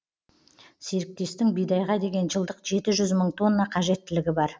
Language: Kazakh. серіктестің бидайға деген жылдық жеті жүз мың тонна қажеттілігі бар